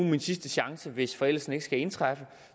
min sidste chance hvis forældelsen ikke skal indtræffe